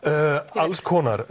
alls konar